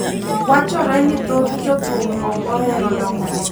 wachore ni thoth jo thum ok ohero dongruok